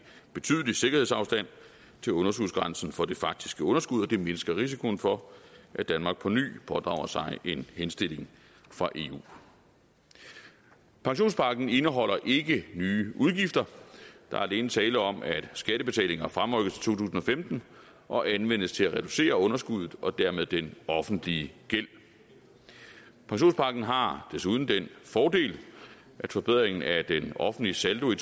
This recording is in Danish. betydelig sikkerhedsafstand til underskudsgrænsen for det faktiske underskud og det mindsker risikoen for at danmark på ny pådrager sig en henstilling fra eu pensionspakken indeholder ikke nye udgifter der er alene tale om at skattebetalinger fremrykkes tusind og femten og anvendes til at reducere underskuddet og dermed den offentlige gæld pensionspakken har desuden den fordel at forbedringen af den offentlige saldo i